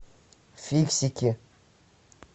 фиксики